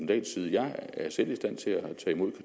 dahls side jeg er selv i stand til at tage imod